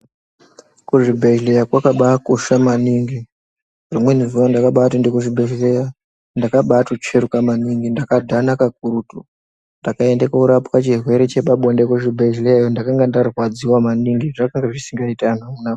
Kuzvibhedhleya kwakabaakosha maningi. Rimweni zuwa ndakabaatoende kuchibhedhleya, ndakabaatotsveruka maningi ndakaadhana kakurutu. Ndakabaaende koorapwe chirwere chepabonde kuzvibhedhleya .Ndakanga ndarwadziwa maningi. Zvanga zvisingaiti anhu amuna.